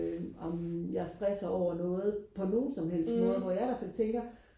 øh amen jeg stresser over noget på nogen som helst måde hvor jeg i hvert fald tænker